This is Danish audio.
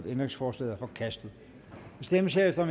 ændringsforslaget er forkastet der stemmes herefter